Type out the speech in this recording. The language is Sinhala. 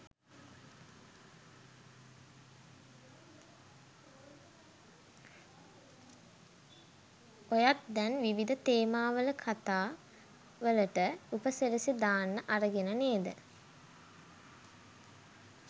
ඔයත් දැන් විවිධ තේමාවල කතා වලට උපසිරැසි දාන්න අරගෙන නේද?